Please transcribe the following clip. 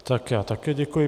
Tak já také děkuji.